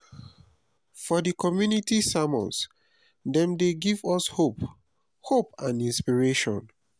for di community sermons dem dey give us hope hope and inspiration.